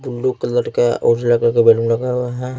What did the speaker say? Blue colour का और उजला कलर का बलून लगा हुआ है।